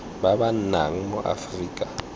ba ba nnang mo aforika